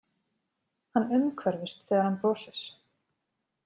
Hann umhverfist þegar hann brosir.